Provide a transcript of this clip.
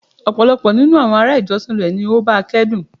Pupọ ninu awọn ará ìjọsìn rẹ ni ó báa kẹ́dùn